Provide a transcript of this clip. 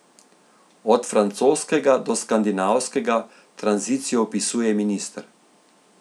Od francoskega do skandinavskega, tranzicijo opisuje minister.